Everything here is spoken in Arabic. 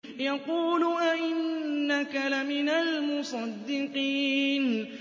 يَقُولُ أَإِنَّكَ لَمِنَ الْمُصَدِّقِينَ